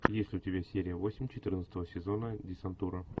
есть ли у тебя серия восемь четырнадцатого сезона десантура